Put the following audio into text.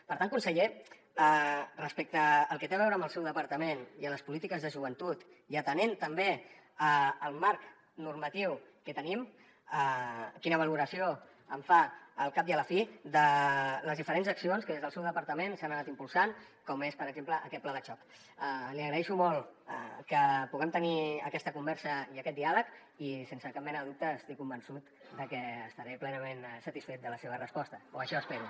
per tant conseller respecte al que té a veure amb el seu departament i a les polítiques de joventut i atenent també al marc normatiu que tenim quina valoració fa al cap i a la fi de les diferents accions que des del seu departament s’han anat impulsant com és per exemple aquest pla de xoc li agraeixo molt que puguem tenir aquesta conversa i aquest diàleg i sense cap mena de dubte estic convençut de que estaré plenament satisfet de la seva resposta o això espero